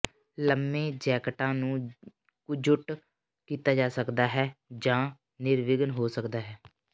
ਲੰਮੇ ਜੈਕਟਾਂ ਨੂੰ ਕੁਜ਼ੁਟ ਕੀਤਾ ਜਾ ਸਕਦਾ ਹੈ ਜਾਂ ਨਿਰਵਿਘਨ ਹੋ ਸਕਦਾ ਹੈ